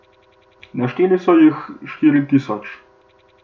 Našteli so jih štiri tisoč.